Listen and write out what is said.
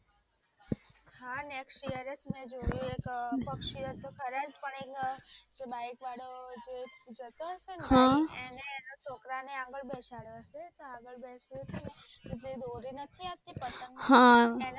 મે જોયુ એક પક્ષીઓ તો ખરા જ પણ એક જે બાઈક વાળો જે જતો હશે જે એને એના છોકરાને આગળ બેસાડ્યો હશે તો આગળ બેસ્યો તો ને તો જે દોરી નથી આવતી પતંગ ની